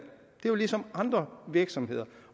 jo ligesom andre virksomheder